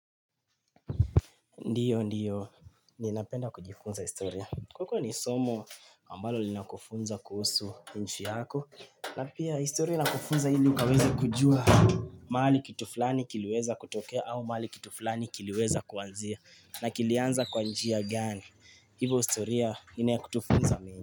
Ndiyo, ndiyo, ninapenda kujifunza historia. Kwa kuwa ni somo, ambalo linakufunza kuhusu nchi yako, na pia historia inakufunza hili ukaweze kujua mahali kitu fulani kiliweza kutokea au mahali kitu fulani kiliweza kuanzia, na kilianza kwa njia gani. Ivo storia, ina ya kutufunza meng.